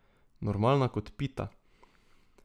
Normalna kot pita.